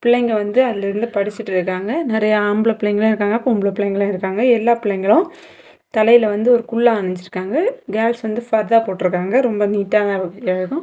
பிள்ளைங்க வந்து அதுல இருந்து படிச்சிட்டுருக்காங்க நிறைய ஆம்பள பிள்ளைங்களும் இருக்காங்க பொம்பள பிள்ளைங்களும் இருக்காங்க எல்லா புள்ளைங்களும் தலையில வந்து ஒரு குல்லா அணிஞ்சுருக்காங்க கேர்ள்ஸ் வந்து ஃபர்தா போட்டுருக்காங்க ரொம்ப நீட்டான இடம்.